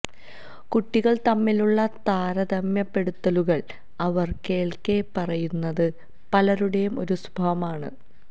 കുട്ടികൾ തമ്മിലുള്ള താരതമ്യപ്പെടുത്തലുകൾ അവർ കേൾക്കെ പറയുന്നത് പലരുടെയും ഒരു സ്വഭാവം ആണ്